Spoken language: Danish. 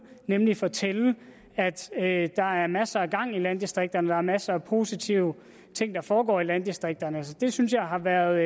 nemlig fortælle at at der er masser af gang i landdistrikterne der er masser af positive ting der foregår i landdistrikterne det synes jeg har været